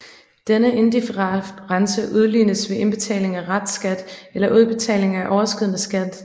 Denne difference udlignes ved indbetaling af restskat eller udbetaling af overskydende skat